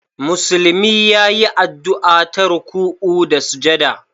Musulmi ya yi addu'a ta ruku'u da sujada